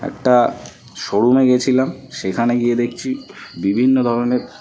একটা শোরুম -এ গিয়েছিলাম সেখানে গিয়ে দেখছি বিভিন্ন ধরনের--